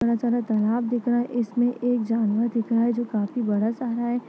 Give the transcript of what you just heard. बड़ा सारा तालाब दिख रहा है इसमे एक जानवर दिख रहा है जो काफी बड़ा सा है।